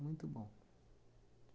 Muito bom.